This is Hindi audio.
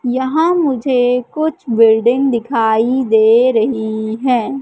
यहां मुझे कुछ बिल्डिंग दिखाई दे रही हैं।